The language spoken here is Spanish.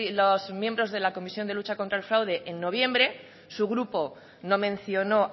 los miembros de la comisión de lucha contra el fraude en noviembre su grupo no mencionó